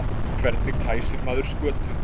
Hvernig kæsir maður skötu?